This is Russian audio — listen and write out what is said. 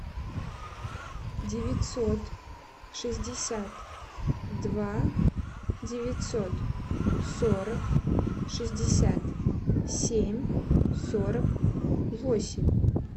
девятьсот шестьдесят два девятьсот сорок шестьдесят семь сорок восемь